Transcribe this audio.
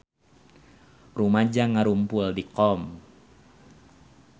Rumaja ngarumpul di Qom